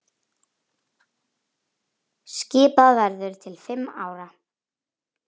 Skipað verður til fimm ára.